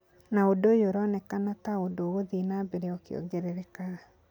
Na ũndũ ũyũ ũronekana ta ũndũ ũgũthiĩ na mbere ũkiongererekaga.